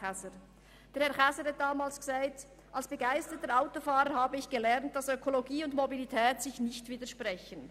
Erstens sagte er, als begeisterter Autofahrer habe er gelernt, «dass Ökologie und Mobilität sich nicht widersprechen».